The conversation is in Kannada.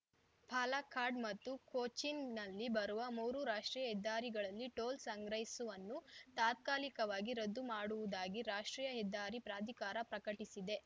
ಪಾಲಕ್ಕಾಡ್‌ ಮತ್ತು ಕೊಚ್ಚಿನ್‌ನಲ್ಲಿ ಬರುವ ಮೂರು ರಾಷ್ಟ್ರೀಯ ಹೆದ್ದಾರಿಗಳಲ್ಲಿ ಟೋಲ್‌ ಸಂಗ್ರಹಿಸುವನ್ನು ತಾತ್ಕಾಲಿಕವಾಗಿ ರದ್ದು ಮಾಡುವುದಾಗಿ ರಾಷ್ಟ್ರೀಯ ಹೆದ್ಧಾರಿ ಪ್ರಾಧಿಕಾರ ಪ್ರಕಟಿಸಿದೆ